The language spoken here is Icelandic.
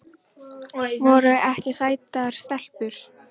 Voru ekki sætar stelpur?